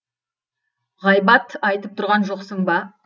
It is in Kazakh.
ғайбат айтып тұрған жоқсың ба